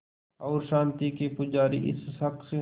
और शांति के पुजारी इस शख़्स